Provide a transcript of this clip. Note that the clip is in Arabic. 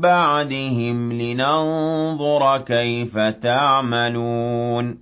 بَعْدِهِمْ لِنَنظُرَ كَيْفَ تَعْمَلُونَ